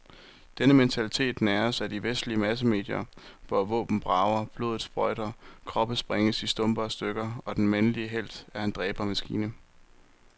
Denne mentalitet næres af de vestlige massemedier, hvor våben brager, blodet sprøjter, kroppe sprænges i stumper og stykker, og den mandlige helt er en dræbermaskine.